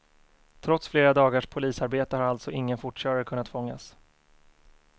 Trots flera dagars polisarbete har alltså ingen fortkörare kunnat fångas.